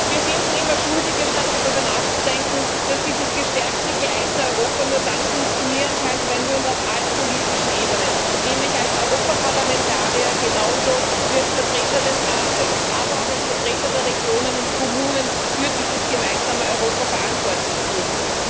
Wir finden immer Schuldige, anstatt darüber nachzudenken, dass dieses gestärkte, geeinte Europa nur dann funktionieren kann, wenn wir uns auf allen politischen Ebenen nämlich als Europaparlamentarier genauso wie als Vertreter des Rates, aber auch als Vertreter der Regionen und Kommunen für dieses gemeinsame Europa verantwortlich fühlen.